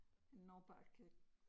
En nordbagge